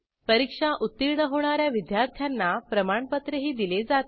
परीक्षा उत्तीर्ण होणा या विद्यार्थ्यांना प्रमाणपत्रही दिले जाते